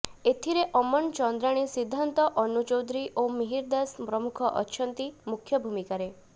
ଏଥିରେ ଅମନ୍ ଚନ୍ଦ୍ରାଣୀ ସିଦ୍ଧାନ୍ତ ଅନୁ ଚୌଧୁରୀ ଓ ମିହିର ଦାସ ପ୍ରମୁଖ ଅଛନ୍ତି ମୁଖ୍ୟ ଭୂମିକାରେ